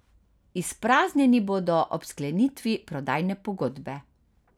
Izpraznjeni bodo ob sklenitvi prodajne pogodbe.